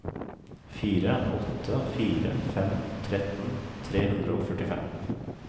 fire åtte fire fem tretten tre hundre og førtifem